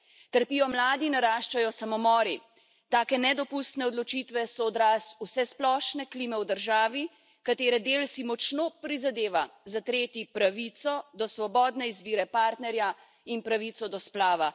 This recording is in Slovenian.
Trpijo mladi, naraščajo samomori, take nedopustne odločitve so odraz vsesplošne klime v državi, katere del si močno prizadeva zatreti pravico do svobodne izbire partnerja in pravico do splava.